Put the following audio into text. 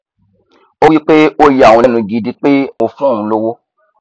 ó wí pé ó ya òun lẹnu gidi pé mo fún òun lówó